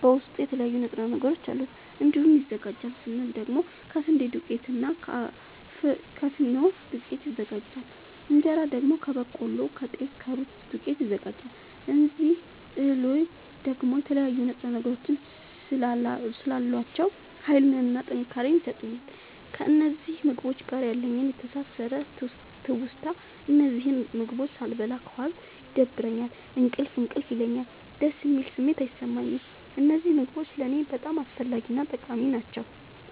በዉስጡ የተለያዩ ንጥረ ነገሮች አሉት። እንዴት ይዘጋጃል ስንል ደግሞ ከስንዴ ዱቄትና እና ከፊኖ ዱቄት ይዘጋጃል። እንጀራ ደግሞ ከበቆሎ ከጤፍ ከሩዝ ዱቄት ይዘጋጃል። እዚህ እህሎይ ደግሞ የተለያዩ ንጥረ ነገሮች ስላሏቸዉ ሀይልንና ጥንካሬን ይሠጡኛል። ከእነዚህ ምግቦች ጋር ያለኝ የተሣሠረ ትዉስታ እነዚህን ምግቦች ሣልበላ ከዋልኩ ይደብረኛል እንቅልፍ እንቅልፍ ይለኛል። ደስ የሚል ስሜት አይሠማኝም። እነዚህ ምግቦች ለኔ በጣም አስፈላጊናጠቃሚ ናቸዉ።